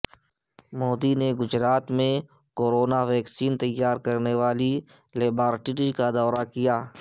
مودی نے گجرات میں corona vaccine تیار کرنے والی لیبارٹری کا دورہ کیا